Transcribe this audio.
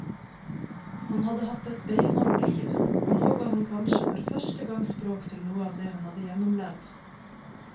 Han hadde hatt et beinhardt liv, og nå ga han kanskje for første gang språk til noe av det han hadde gjennomlevd.